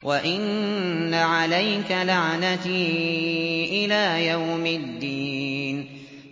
وَإِنَّ عَلَيْكَ لَعْنَتِي إِلَىٰ يَوْمِ الدِّينِ